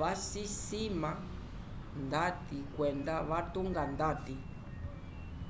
vacisima ndati kwenda vacitunga ndati